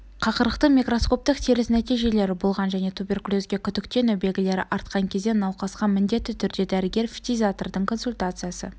қақырықтың микроскоптық теріс нәтижелері болған және туберкулезге күдіктену белгілері артқан кезде науқасқа міндетті түрде дәрігер-фтизиатрдың консультациясы